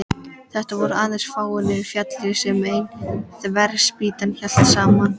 Þetta voru aðeins fáeinar fjalir sem ein þverspýta hélt saman.